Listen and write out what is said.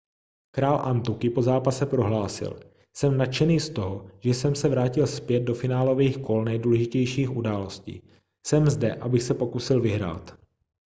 král antuky po zápase prohlásil jsem nadšený z toho že jsem se vrátil zpět do finálových kol nejdůležitějších událostí jsem zde abych se pokusil vyhrát